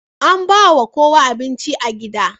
An ba ma kowa abinci a gidan.